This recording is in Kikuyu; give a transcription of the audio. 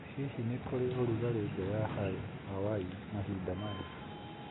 Hihi nĩ kũrĩ na ũrugarĩ nja ya Hawaii mahinda maya